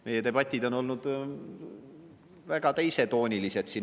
Meie debatid olid veel mõni aeg tagasi väga teisetoonilised.